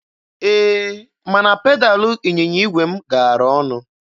Ee, mana pedalụ ịnyịnya igwe m gaara ọnụ.